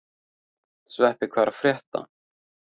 Sveppi, hvað er að frétta?